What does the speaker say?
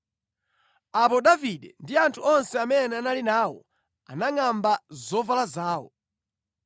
Apo Davide ndi anthu onse amene anali nawo anangʼamba zovala zawo.